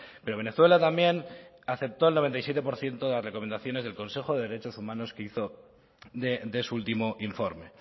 pero venezuela también aceptó el noventa y siete por ciento de las recomendaciones del consejo de derechos humanos que hizo de su último informe